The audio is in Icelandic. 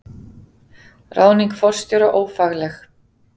Ráðning forstjóra ófagleg